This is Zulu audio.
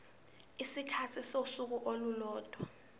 isikhathi sosuku olulodwa